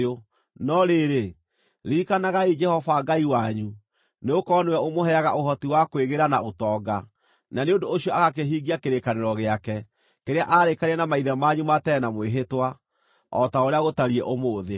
No rĩrĩ, ririkanagai Jehova Ngai wanyu, nĩgũkorwo nĩwe ũmũheaga ũhoti wa kwĩgĩĩra na ũtonga, na nĩ ũndũ ũcio agakĩhingia kĩrĩkanĩro gĩake, kĩrĩa aarĩkanĩire na maithe manyu ma tene na mwĩhĩtwa, o ta ũrĩa gũtariĩ ũmũthĩ.